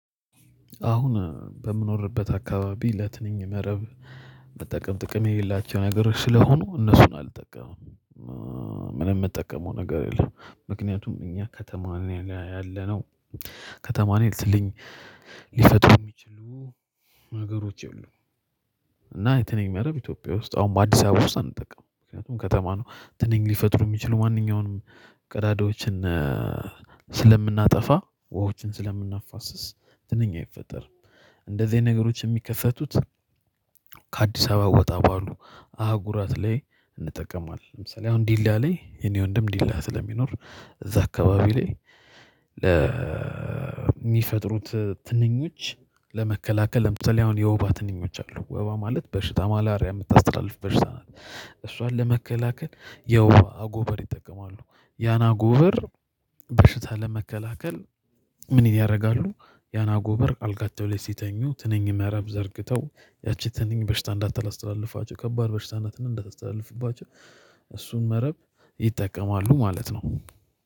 አሁን በምኖርበት አካባቢ ለትንኝ መረብ መጠቀም ጥቅም የሌላቸው ነገሮች ስለሆኑ እነሱን አልጠቀምም። ምንም የምትጠቀመው ነገር የለም? ምክንያቱም እኛ ከተማን ያለነው ከተማን ይልትልኝ ሊሰጡ የሚችሉ ሀገሮች የሉም። የትንንሽ መረብ ኢትዮጵያ ውስጥ አሁን በአዲስ አበባ ውስጥ አንጠቀምም ምክንያቱም ከተማ ነው። ትንንሽ ሊፈጥሩ የሚችሉ ማንኛውንም ቀዳዳዎችን ስለምናጠፋ ወሆችን ስለምናፋስስ ድንኛ አይፈጠርም። እንደዚህ አይነት ነገሮች የሚከሰቱት ከአዲስ አበባ ወጣ ባሉ አጉራት ላይ እንጠቀማለን። ለምሳሌ አሁን ዲላ ላይ የኔ ወንድም ዲላ ስለሚኖር እዛ አካባቢ ላይ ለ ለሚፈጥሩት ትንኞች ለመከላከል የምትሰለውን የውባ ትንኞች አሉ ወባ ማለት በሽታ ማላሪያ የምታስተላልፍ በሽታ ናት። እሷን ለመከላከል የወፋ ጎበር ይጠቀማሉ ያና ጎበር በሽታ ለመከላከል ምን ያደርጋሉ? ያና ጎበር አልጋቸው ላይ ሲተኙ ትንንሽ መረብ ዘርግተው ያቺ ትንንሽ በሽታ እንዳታስተላልፋቸው ከባድ በሽታነትን እንዳታስተላልፍባቸው እሱን መረብ ይጠቀማሉ ማለት ነው